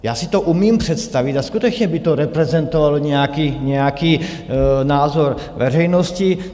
Já si to umím představit a skutečně by to reprezentovalo nějaký názor veřejnosti.